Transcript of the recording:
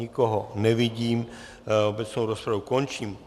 Nikoho nevidím, obecnou rozpravu končím.